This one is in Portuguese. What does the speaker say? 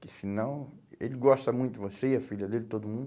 Porque senão, ele gosta muito de você e a filha dele, todo mundo.